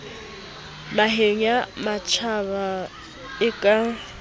naheng ya matjhaba e ka